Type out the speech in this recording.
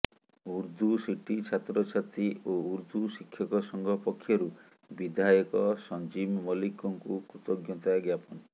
Urdu city ଛାତ୍ରଛାତ୍ରୀ ଓ ଉର୍ଦ୍ଧୁ ଶିକ୍ଷକ ସଂଘ ପକ୍ଷରୁ ବିଧାୟକ ସଂଜୀବ ମଲ୍ଲିକଙ୍କୁ କୃତଜ୍ଞତା ଜ୍ଞାପନ